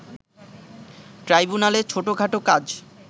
ট্রাইব্যুনালে ছোটখাটো কাজ